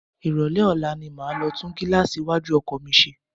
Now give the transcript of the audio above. Ìrólé ọ̀la ni máa lọ tún gíláàsì iwájú ọkọ̀ mi ṣe.